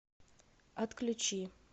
отключи